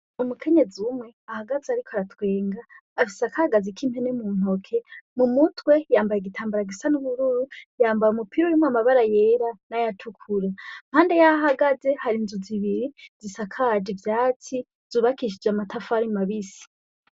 Umukenyezi umwe ahagaze ariko aratwenga afise akagazi k'impene muntoke mumutwe yambaye igitambara gisa n' ubururu yambaye umupira urimwo amabara yera nayatukura impande yaho ahagaze hari inzu zibiri zisakaje ivyatsi zubakishijwe amatafari mabisi.